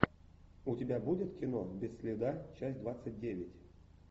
у тебя будет кино без следа часть двадцать девять